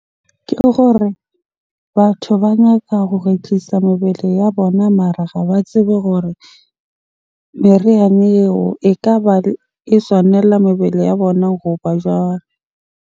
Ke gore batho ba nyaka tlisa mebele ya bona mara ha ba tsebe hore meriana eo ekaba e swanela mebele ya bona goba jwang?